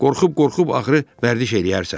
Qorxub-qorxub axırı vərdiş eləyərsən.